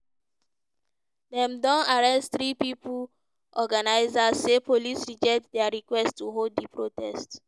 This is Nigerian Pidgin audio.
dem don arrest three pipo organisers say police reject dia request to hold di protest.